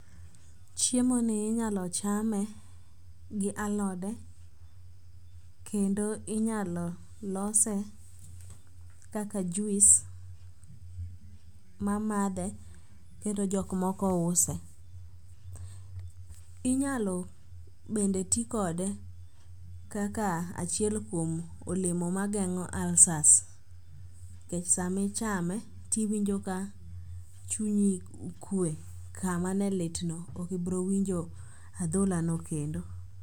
Chiemoni inyalo chame gi alode kendo inyalo lose kaka juis ma madhe kendo jokmoko use. Inyalo bende ti kode kaka achiel kuom olemo mageng'o ulcers nikech samichame tiwinjo ka chunyi kwe kama ne litno okibrowinjo adholano kendo.